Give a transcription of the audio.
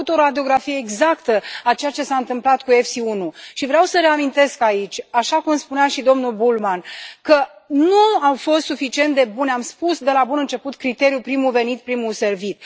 Au făcut o radiografie exactă a ceea ce s a întâmplat cu EFSI 1 și vreau să reamintesc aici, așa cum spunea și domnul Bullmann, că nu a fost suficient de bun, am spus de la bun început, criteriul primul venit primul servit.